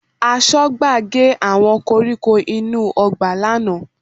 Aṣọ́gbà gé àwọn koríko inú ọgbà lánàá